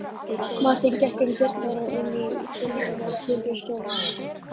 Marteinn gekk um dyrnar og inn í þiljaða timburstofuna.